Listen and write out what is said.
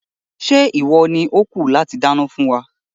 Ṣé ìwọ ni ó kù láti dáná fún wa?